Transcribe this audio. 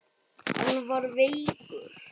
Hann var veikur.